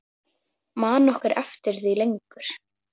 Man nokkur eftir því lengur?